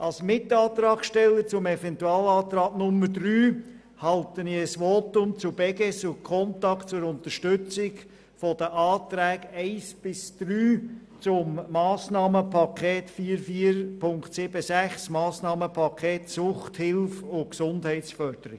Als Mitantragsteller des Eventualantrags 3 halte ich ein Votum zu Beges und Contact zur Unterstützung der Anträge 1 bis 3 zum Massnahmenpaket 44.7.6, Suchthilfe und Gesundheitsförderung.